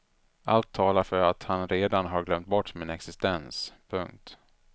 Allt talar för att han redan har glömt bort min existens. punkt